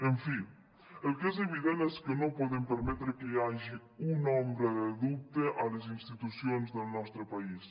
en fi el que és evident és que no podem permetre que hi hagi una ombra de dubte a les institucions del nostre país